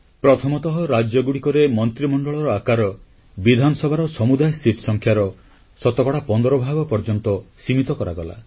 ପ୍ରଥମତଃ ରାଜ୍ୟଗୁଡ଼ିକରେ ମନ୍ତ୍ରୀମଣ୍ଡଳର ଆକାର ବିଧାନସଭାର ସମୁଦାୟ ସିଟଆସନ ସଂଖ୍ୟାର ଶତକଡ଼ା 15 ଭାଗ ପର୍ଯ୍ୟନ୍ତ ସୀମିତ କରାଗଲା